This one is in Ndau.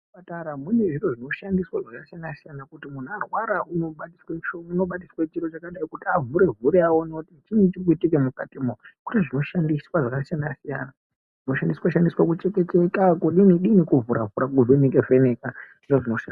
Kuzvipatara mune zviro zvinoshandiswa zvakasiyana siyana kuti muntu warwara unobatiswa musho, unobatiswa chiro chakadai kuti avhure aone kuti chiinyi chiri kuitika mukati mwo. Kune zvinoshandiswa zvakasiyana siyana. Zvinoshandiswa shandiswa zvinocheka cheka, kudini dini, kuvhura vhura, kuvheneka vheneka zviro zvino.